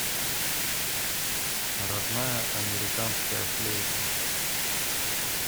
родная американская флейта